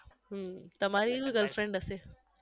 હમ તમારીય girlfriend હશે